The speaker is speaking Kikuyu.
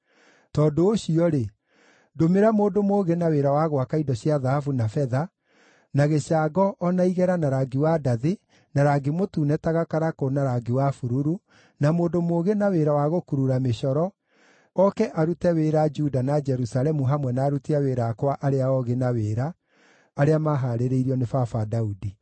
“Tondũ ũcio-rĩ, ndũmĩra mũndũ mũũgĩ na wĩra wa gwaka indo cia thahabu na betha, na gĩcango o na igera na rangi wa ndathi, na rangi mũtune ta gakarakũ na rangi wa bururu, na mũndũ mũũgĩ na wĩra wa gũkurura mĩcoro, oke arute wĩra Juda na Jerusalemu hamwe na aruti a wĩra akwa arĩa oogĩ na wĩra, arĩa maahaarĩirio nĩ baba Daudi.